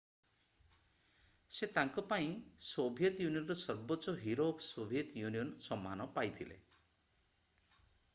ସେ ତାଙ୍କ କାର୍ଯ୍ୟ ପାଇଁ ସୋଭିଏତ୍ ୟୁନିଅନ୍‌ର ସର୍ବୋଚ୍ଚ ହିରୋ ଅଫ୍ ସୋଭିଏତ୍ ୟୁନିଅନ୍ ସମ୍ମାନ ପାଇଥିଲେ।